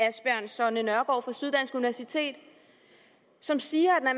asbjørn sonne nørgaard fra syddansk universitet som siger at